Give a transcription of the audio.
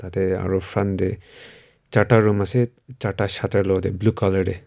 ah aru front te charta room ase charta shutter luwo te blue colour te.